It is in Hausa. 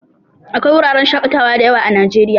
Akwai wuraren shakatawa dayawa a najeriya